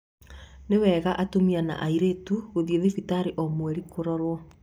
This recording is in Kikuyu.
Nĩ wega atumia aritu guthiĩ thibitari o mweri kurorwo